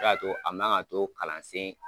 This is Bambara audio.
a man ka to kalansen